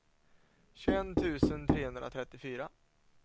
tjugoett tusen trehundratrettiofyra